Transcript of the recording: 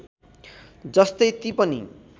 जस्तै ती पनि